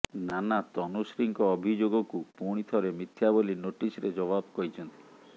ନାନା ତନୁଶ୍ରୀଙ୍କ ଅଭିଯୋଗକୁ ପୁଣିଥରେ ମିଥ୍ୟା ବୋଲି ନୋଟିସ୍ର ଜବାବରେ କହିଛନ୍ତି